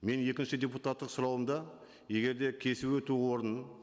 менің екінші депутаттық сұрауымда егер де кесіп өту орнын